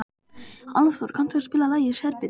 Álfþór, kanntu að spila lagið „Serbinn“?